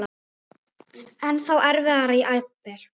Ennþá erfiðara jafnvel?